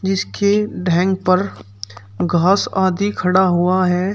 जिसकी ढैंग पर घास आदि खड़ा हुआ है।